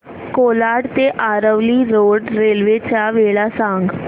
कोलाड ते Aravali road railway च्या वेळा सांग